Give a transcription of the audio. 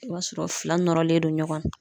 I b'a sɔrɔ fila nɔrɔlen do ɲɔgɔn na.